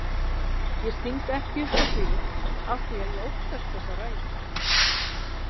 Ég sting ekki upp á því afþvíað ég óttast þessa ræðu.